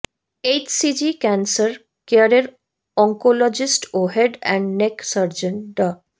HCG cancer কেয়ারের oncologist ও head and neck surgeon ডা